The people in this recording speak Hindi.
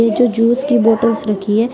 पीछे जूस की बॉटल्स रखी है।